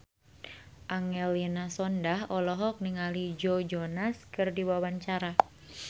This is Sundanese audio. Angelina Sondakh olohok ningali Joe Jonas keur diwawancara